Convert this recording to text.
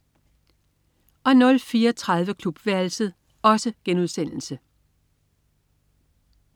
04.30 Klubværelset*